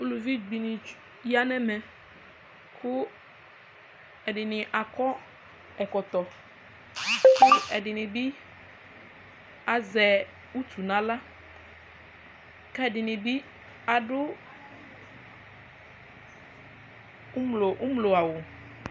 Ʋlʋvi dini yanʋ ɛmɛ kʋ ɛdini akɔ ɛkɔtɔ kʋ ɛdini bi azɛ utu nʋ aɣla kʋ ɛdini bi adʋ ʋmlo awʋ